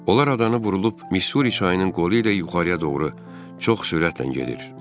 Onlar adanı vurulub Misuri çayının qolu ilə yuxarıya doğru çox sürətlə gedir.